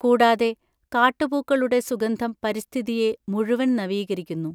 കൂടാതെ, കാട്ടുപൂക്കളുടെ സുഗന്ധം പരിസ്ഥിതിയെ മുഴുവൻ നവീകരിക്കുന്നു.